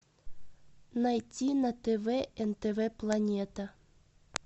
найти на тв нтв планета